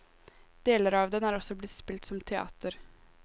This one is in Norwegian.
Deler av den er også blitt spilt som teater.